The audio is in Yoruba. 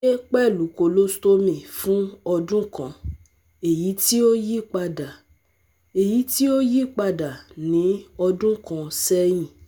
gbe pẹlu colostomy fun ọdun kan, eyiti o yipada eyiti o yipada ni ọdun kan sẹyin